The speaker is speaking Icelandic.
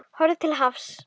Horft til hafs.